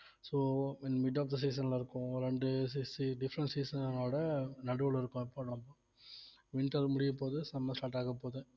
so mid of the season ல இருக்கோம் ரெண்டு different season ஓட நடுவுல இருக்கோம் இப்ப நம்ப winter முடியப்போகுது summer start ஆகப்போகுது